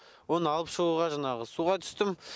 оны алып шығуға жаңағы суға түстім